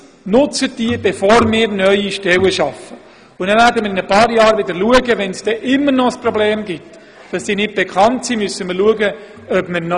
Doch bevor wir neue Stellen schaffen, wollen wir zeigen, dass es solche bereits gibt und die Leute auffordern, diese zu nutzen.